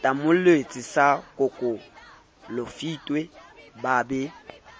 tamolletswe sa kokolofitwe ba be